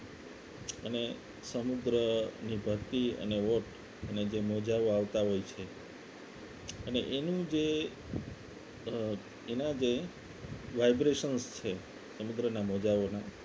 અને સમુદ્રની ભરતી અને વોટ અને જે મોજાઓ આવતા હોય છે અને એનું જે અ એના જે vibrations છે સમુદ્રના મોજાઓના